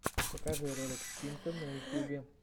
покажи ролик стинта на ютюбе